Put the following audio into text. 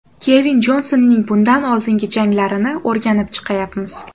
Kevin Jonsonning bundan oldingi janglarini o‘rganib chiqayapmiz.